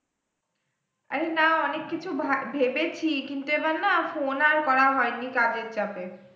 আরে না অনেক কিছু ভাবা ভেবেছি কিন্তু এবার না phone আর করা হয়নি, কাজের চাপে।